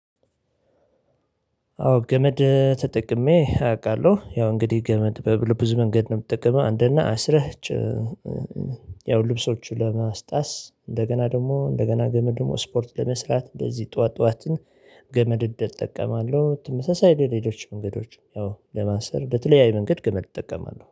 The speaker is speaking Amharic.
አዎ ገመድ ተጠቅሜ አውቃለሁ ያው እንግዲህ ገመድ በብልብዙ መንገድ ነው የምጠቀመው አንደኛ አስረች። ያው ልብሶቹን ለማስጣስ እንደገና ደግሞ እንደገና ገመድ ደግሞ ስፖርት ለመስራት እንደዚህ ጠዋት ጠዋትን ገመድ እጠቀማለሁ። ትመሳሳይ ለሌሎች መንገዶች ያው ለማንሰር ለተለያዩ መንገድ ግመድ እጠቀማለሁ